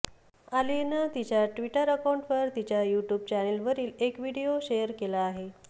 आलियानं तिच्या ट्विटर अकाउंटवर तिच्या यूट्यूब चॅनेलवरील एक व्हिडिओ शेअर केला आहे